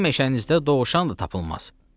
Sizin meşənizdə dovşan da tapılmaz.